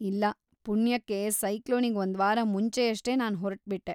ಇಲ್ಲ, ಪುಣ್ಯಕ್ಕೆ ಸೈಕ್ಲೋನಿಗ್ ಒಂದ್ವಾರ ಮುಂಚೆಯಷ್ಟೇ ನಾನ್‌ ಹೊರಟ್ಬಿಟ್ಟೆ.